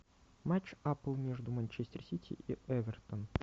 матч апл между манчестер сити и эвертоном